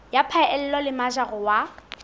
ya phaello le mojaro wa